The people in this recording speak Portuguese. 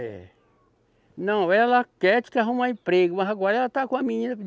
É. Não, ela quer arrumar emprego, mas agora ela está com a menina.